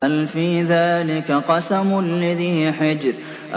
هَلْ فِي ذَٰلِكَ قَسَمٌ لِّذِي حِجْرٍ